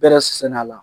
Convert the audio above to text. Bɛrɛ sɛni a la